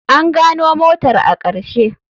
An gano motar a ƙarshe.